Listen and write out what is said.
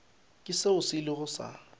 ke seo se ilego sa